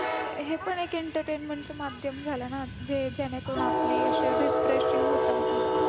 हे पण एक entertainment च माध्यम झाला ना जे जाने करून आपली ती refreshing होतं mood